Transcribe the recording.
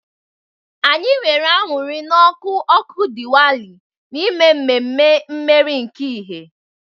Anyị nwere aṅụrị na ọkụ ọkụ Diwali, na-eme ememe mmeri nke ìhè.